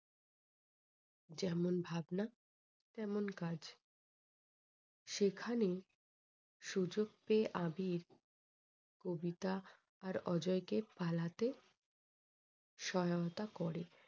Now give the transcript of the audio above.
যেমন ভাবনা তেমন কাজ। সেখানেই সুযোগ পেয়ে আবির কবিতা আর অজয় কে পালতে সহায়তা করে।